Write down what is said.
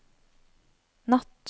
natt